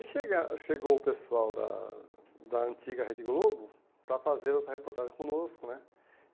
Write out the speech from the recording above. E aí chega chegou o pessoal da da antiga Rede Globo para fazer essa reportagem conosco né.